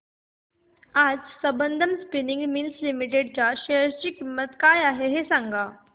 आज Sambandam spinning mills limited च्या share ची किंमत काय आहे हे सांगा